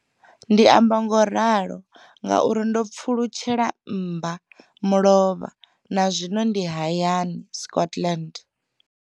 Ndi amba ngauralo nga uri ndo pfulutshela mmba mulovha na zwino ndi hayani, Scotland.